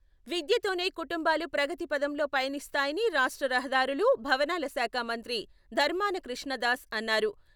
విద్యతోనే కుటుంబాలు ప్రగతి పథంలో పయనిస్తాయని రాష్ట్ర రహదారులు, భవనాల శాఖ మంత్రి ధర్మాన కృష్ణ దాస్ అన్నారు.